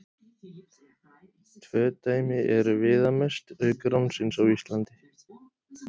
Tvö dæmi eru viðamest, auk ránsins á Íslandi.